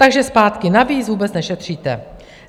Takže zpátky - navíc vůbec nešetříte.